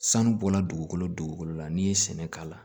Sanu bɔla dugukolo dugukolo la n'i ye sɛnɛ k'a la